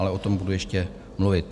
Ale o tom budu ještě mluvit.